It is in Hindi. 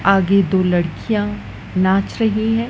आगे दो लड़कियां नाच रही हैं।